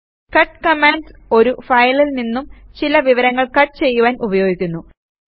cut command ഒരു ഫയലിൽ നിന്നും ചില വിവരങ്ങൾ കട്ട് ചെയ്യുവാൻ ഉപയോഗിക്കുന്നു